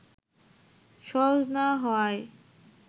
সহজ না হওয়ায়